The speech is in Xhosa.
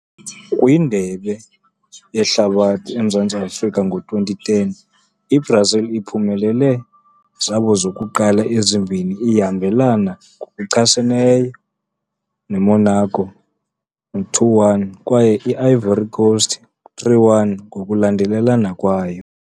Kwi Indebe Yehlabathi Emzantsi Afrika, i-Brazil uphumelele zabo zokuqala ezimbini iyahambelana ngokuchaseneyo monaco, 2-1, kwaye i-Ivory Coast, 3-1, ngokulandelelana kwayo.